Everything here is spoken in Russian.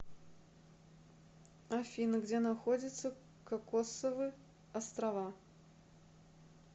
афина где находится кокосовы острова